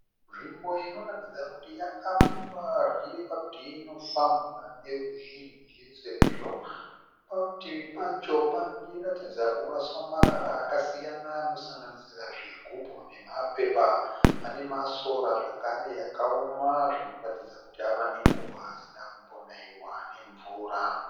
Nzvimbo inoratidza kuti yakapfumba zvichireva kuti inofambwa ruzhinji sezvo parutivi pacho pachiratidza kuraswa marara akasiyana anosanganisira zvigubhu nemapepa ,pane masora zvakare akaoma zvinoratidza kuti ava nenguva asina kumbonayiwa nemvura.